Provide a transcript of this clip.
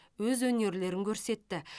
өз өнерлерін көрсетті